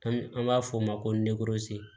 An an b'a f'o ma ko